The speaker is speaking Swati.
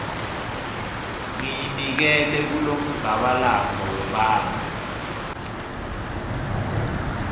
ngiyinikele kulomzabalazo webantfu